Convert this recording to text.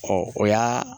Ɔ o y'a